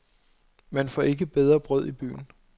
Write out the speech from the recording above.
Man får ikke bedre brød i byen.